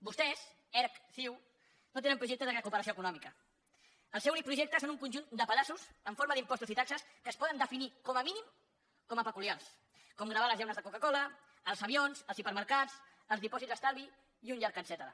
vostès erc ciu no tenen projecte de recuperació econòmica el seu únic projecte són un conjunt de pedaços en forma d’impostos i taxes que es poden definir com a mínim com a peculiars com gravar les llaunes de coca cola els avions els hipermercats els dipòsits d’estalvi i un llarg etcètera